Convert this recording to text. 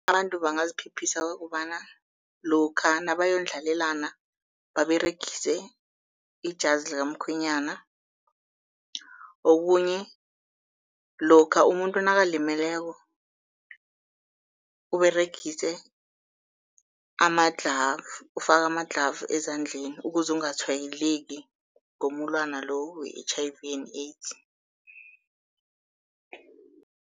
Abantu bangaziphephisa kobana lokha nabayokundlalelana baberegise ijazi likamkhwenyana. Okunye lokha umuntu nakalimeleko Uberegise ama-glove ufake ama-glove ezandleni ukuze ungatshwayeleki ngomulwana lo we-H_I_V and AIDS.